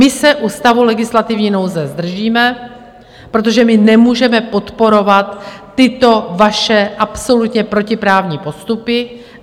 My se u stavu legislativní nouze zdržíme, protože nemůžeme podporovat tyto vaše absolutně protiprávní postupy.